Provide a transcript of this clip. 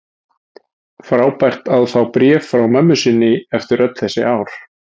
Frábært að fá bréf frá mömmu sinni eftir öll þessi ár.